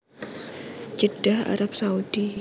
Jeddah Arab Saudi